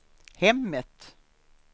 hemmet